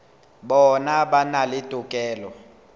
bona ba na le tokelo